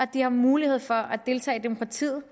de har mulighed for at deltage i demokratiet